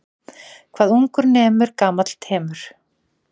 Hvað ungur nemur gamall temur.